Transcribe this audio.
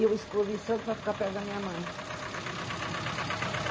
E eu escolhi Santos para ficar perto da minha mãe.